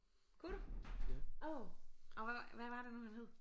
Kunne du åh og hvad var hvad var det nu han hed